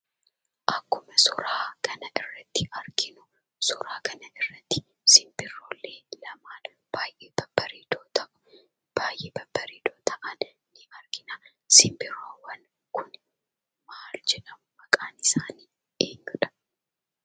Akkuma suuraa kana irratti arginuu, suuraa kana irratti simbirroollee lama baayyee babbareedoo ta'anidha. Simbirroowwan kun maal jedhamu, maqaan isaanii eenyu?